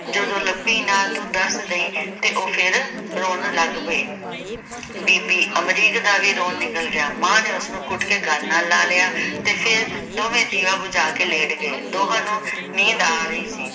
ਜਦੋਂ ਲੱਬੀ ਨਾ ਤੂੰ ਦੱਸ ਦਈ ਤੇ ਉਹ ਫਿਰ ਰੋਣ ਲੱਗ ਪਈ ਬੀਬੀ ਅਮਰੀਕ ਦਾ ਵੀ ਰੋਣ ਨਿਕਲ ਗਿਆ ਮਾਂ ਨੇ ਉਸਨੂੰ ਘੁੱਟਕੇ ਗੱਲ ਨਾਲ ਲਾ ਲਿਆ ਤੇ ਫਿਰ ਦੋਵੇਂ ਦੀਵਾ ਭੁਝਾ ਕੇ ਲੇਟ ਗਏ ਦੋਹਾਂ ਨੂੰ ਨੀਂਦ ਆ ਰਹੀ ਸੀ